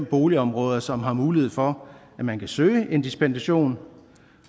boligområder som har mulighed for at man kan søge en dispensation